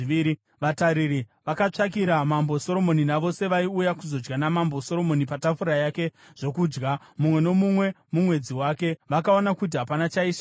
Vatariri vakatsvakira Mambo Soromoni navose vaiuya kuzodya naMambo Soromoni patafura yake zvokudya, mumwe nomumwe mumwedzi wake. Vakaona kuti hapana chaishayikwa.